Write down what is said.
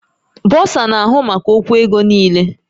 Bọsa na-ahụ maka okwu ego niile